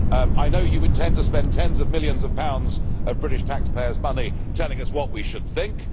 UK. I know you intend to spend tens of millions of pounds of British taxpayers' money telling us what we should think.